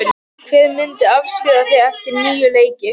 Hver myndir afskrifa þig eftir níu leiki?